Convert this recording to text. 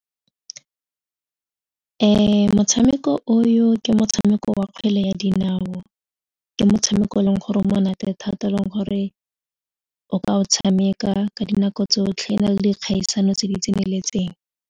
Motshameko o yo ke motshameko wa kgwele ya dinao, ke motshameko e leng gore monate thata e leng gore o ka o tshameka ka dinako tsotlhe o na le dikgaisano tse di tseneletseng.